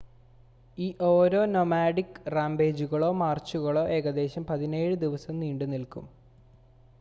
ഈ ഓരോ നോമാഡിക് റാമ്പേജുകളോ മാർച്ചുകളോ ഏകദേശം 17 ദിവസം നീണ്ടുനിൽക്കും